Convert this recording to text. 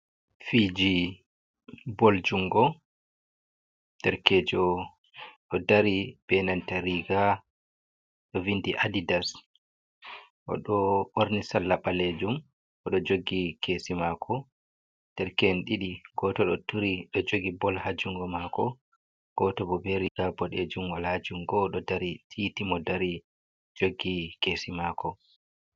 Fiji ball jungo derkejo ɗo dari be nanta riga ɗo vindi adidas oɗo ɓorni salla ɓalejum odo jogi kesi mako derke en ɗiɗi goto do jogi ball ha jungo mako goto bo beriga boɗejun wala jungo oɗo dari titi mo dari jogi kesi mako.